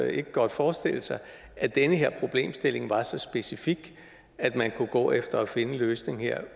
ikke godt forestille sig at den her problemstilling var så specifik at man kunne gå efter at finde en løsning her